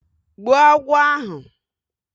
Gbuo agwọ ahụ